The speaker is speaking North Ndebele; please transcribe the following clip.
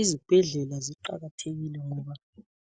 Izibhedlela ziqakathekile ngoba